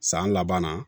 San laban na